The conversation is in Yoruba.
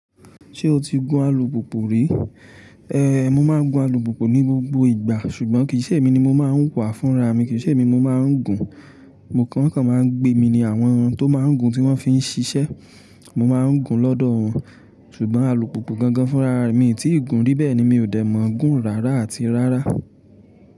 Ṣé o ti gun alùpùpù rí? Ehn, mo máa ń gun alùpùpù ní gbogbo ìgbà, ṣùgbọ́n kì í ṣe èmi ni mo máa ń wà fúnra mi, kì í ṣe èmi ni mo máa ń gùn. Mo kàn án, wọ́n kan máa ń gbé mi ní àwọn tó máa ń gùn tí wọ́n fi ń ṣíṣe. Mo máa ń gùn lọ́dọ̀ wọn, ṣùgbọ́n alùpùpù gangan fúnra ra rẹ mi tí ì gùn ri bẹ̀ẹ ni mi ò dẹ̀ mọ̀ gùn rárá àti rárá.